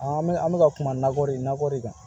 An bɛ an bɛ ka kuma nakɔ de nakɔ de kan